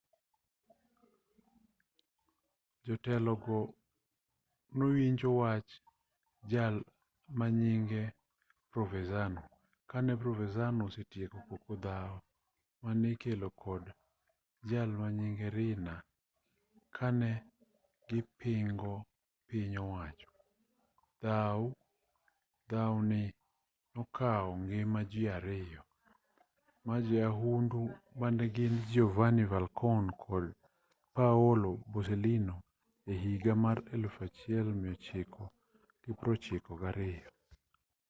jotelogo newinjo wach jal manyinge provenzano kane provenzano osetieko koko dhaw mane ikelo kod jalmanyinge riina kanegipingo piny owacho dhaw ni nokaw ngima ji ariyo majoyahundu manegin giovanni falcone kod paolo borsellino ehiga mar 1992